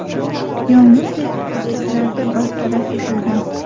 Yong‘in tez fursatlarda bartaraf etilgan.